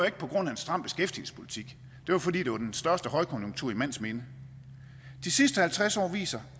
ikke på grund af en stram beskæftigelsespolitik det var fordi det var den største højkonjunktur i mands minde de sidste halvtreds år viser